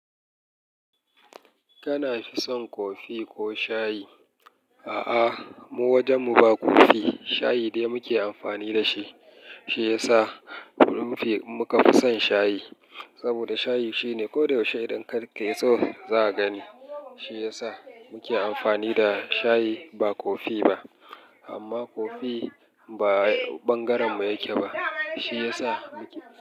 Kana fi son kofi ko shayi? A'a, mu wajen mu ba kofi, shayi dai muke amfani da shi. Shi ya sa muka fi son shayi. Saboda shayi shine ko da yaushe idan kar ka iso, za a gani. Shi ya sa muke amfani da shayi ba kofi ba. Amma kofi ba ɓangaren mu yake ba. Shi ya sa muke.